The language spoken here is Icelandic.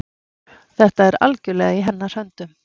Þetta er algjörlega í hennar höndum.